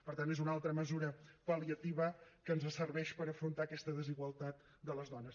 per tant és una altra mesura pal·liativa que ens serveix per afrontar aquesta desigualtat de les dones